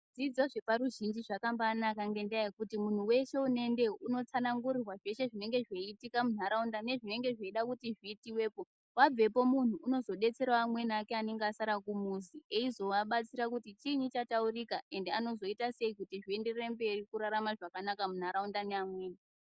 Zvidzidzo zveparuzhinji zvakambaanaka ngendaa yekuti munhu weshe unoendeyo unotsanangurirwa zveshe zvinenge zveiitika munharaunda, nezvinenge zveida kuti zviitiwepo. Wabvepo munhu unozodetserawo amweni ake anenge asara kumuzi eizovabatsira kuti chiinyi chataurika ende anozoita sei kuti zvienderere mberi kurarama zvakanaka munharaunda neamweni.